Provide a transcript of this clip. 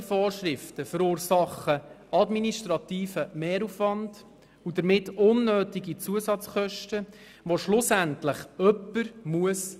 Unterschiedliche Vorschriften in den Gemeinden verursachen administrativen Mehraufwand und damit unnötige Zusatzkosten, die schlussendlich jemand bezahlen muss.